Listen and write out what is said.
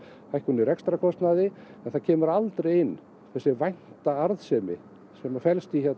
hækkun á rekstrarkostnaði en það kemur aldrei inn þessi vænta arðsemi sem felst í